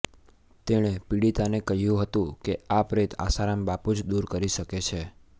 તેણે પીડિતાને કહ્યું હતું કે આ પ્રેત આસારામ બાપુ જ દૂર કરી શકે છે